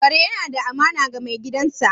Kare yana da amana ga mai gidansa